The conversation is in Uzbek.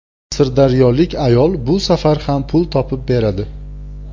Sirdaryolik ayol bu safar ham pul topib beradi.